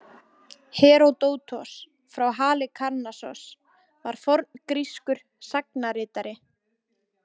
Heródótos frá Halikarnassos var forngrískur sagnaritari.